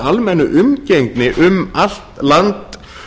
almennu umgengni um allt land